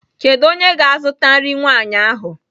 Kedu onye ga-azụta nri nwanyị ahụ?